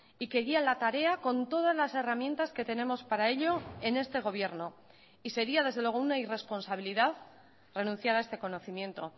y que guía la tarea con todas las herramientas que tenemos para ello en este gobierno y sería desde luego una irresponsabilidad renunciar a este conocimiento